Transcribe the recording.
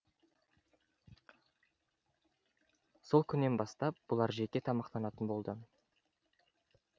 сол күннен бастап бұлар жеке тамақтанатын болды